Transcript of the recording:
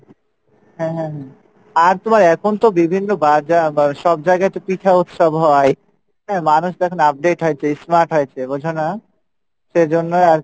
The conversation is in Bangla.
হ্যাঁ হ্যাঁ হ্যাঁ আর তোমার এখন তো বিভিন্ন বাজার বা সবজায়গায় তো পিঠা উৎসব হয়, হ্যাঁ মানুষ তো এখন update হয়েছে smart হয়েছে বোঝো না? সেই জন্যই আর কী